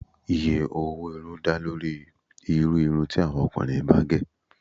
Iye owó irun dá lórí irú irun ti àwọn ọkùnrin bá gẹ̀